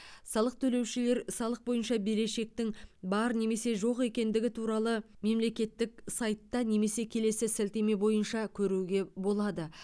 салық төлеушілер салық бойынша берешектің бар немесе жоқ екендігі туралы мемлекеттік сайтта немесе келесі сілтеме бойынша көруге болады